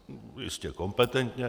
Jistě kompetentně.